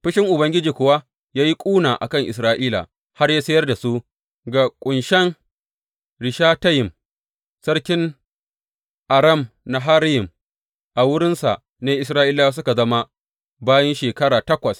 Fushin Ubangiji kuwa ya yi ƙuna a kan Isra’ila har ya sayar da su ga Kushan Rishatayim sarkin Aram Naharayim, a wurinsa ne Isra’ilawa suka zama bayi shekara takwas.